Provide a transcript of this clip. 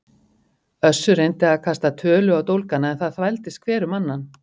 Össur reyndi að kasta tölu á dólgana en það þvældist hver um annan.